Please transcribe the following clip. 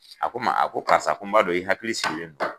A ko n ma a ko karisa a ko n b'a dɔn i hakili sigilen do.